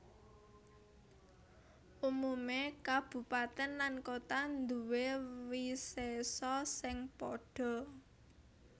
Umumé kabupatèn lan kota nduwé wisésa sing padha